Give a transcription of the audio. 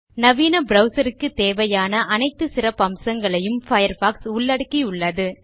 நவீன ப்ரவ்சர் க்குத் தேவையான அனைத்து சிறப்பம்சங்களையும் பயர்ஃபாக்ஸ் உள்ளடக்கியுள்ளது